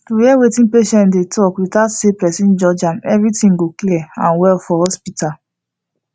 to hear wetin patient dey talk without say person judge am everything go clear and well for hospital